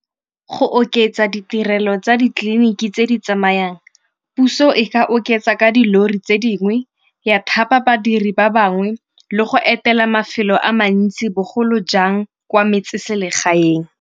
Go oketsa ditirelo tsa ditleliniki tse di tsamayang, puso e ka oketsa ka dilori tse dingwe, ya thapa badiri ba bangwe le go etela mafelo a mantsi bogolo jang kwa metseselegaeng.